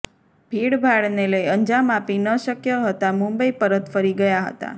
ભીડભાડને લઇ અંજામ આપી ન શક્ય હતા મુંબઈ પરત ફરી ગયા હતા